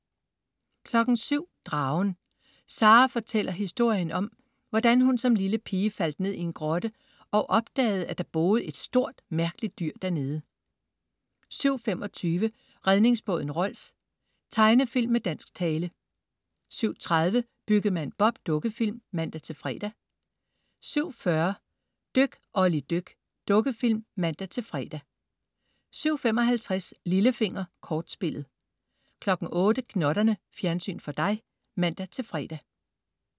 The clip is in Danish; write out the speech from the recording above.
07.00 Dragen. Sara fortæller historien om, hvordan hun som lille pige faldt ned i en grotte og opdagede, at der boede et stort, mærkeligt dyr der nede 07.25 Redningsbåden Rolf. Tegnefilm med dansk tale 07.30 Byggemand Bob. Dukkefilm (man-fre) 07.40 Dyk Olli dyk. Dukkefilm (man-fre) 07.55 Lillefinger. Kortspillet 08.00 Gnotterne. Fjernsyn for dig (man-fre)